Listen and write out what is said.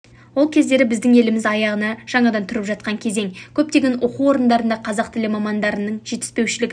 ол кездері біздің еліміз аяғына жаңадан тұрып жатқан кезең көптеген оқу орындарында қазақ тілі мамандарының жетіспеушілігі